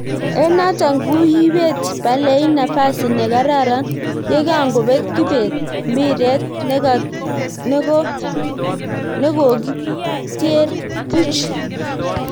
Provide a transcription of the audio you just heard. en naton kuyibet palain nafasi negararan yekangobet Kibet mpiret nekokityre puch